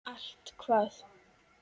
Allt hvað?